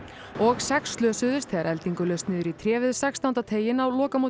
og sex slösuðust þegar eldingu laust niður í tré við sextánda teiginn á lokamóti